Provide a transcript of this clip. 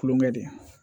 Kulonkɛ de